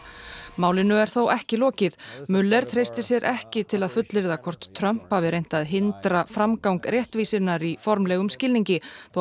málinu er þó ekki lokið treystir sér ekki til að fullyrða hvort Trump hafi reynt að hindra framgang réttvísinnar í formlegum skilningi þó